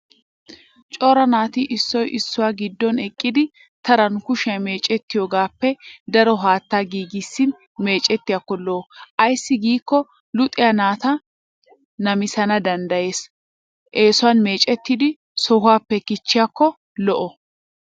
Cora naati issoy issuwa geedon eqqidi taran kushiya meecettiyoogaappe daro haataa giigissin meecettiyaakko lo'o. Ayssi giikko luxiyaa naata lamisana danddayas eesun meecettidi sohuwappe kichchiyaakko lo'o.